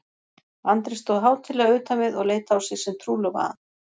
Andri stóð hátíðlega utan við og leit á sig sem trúlofaðan.